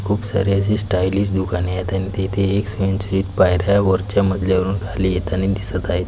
खूप सारी अशी स्टाइलिश दुकाने आहेत आणि तेथे एक स्वयंचलित पायऱ्या वरच्या मजल्यावरुन खाली येतानी दिसत आहेत.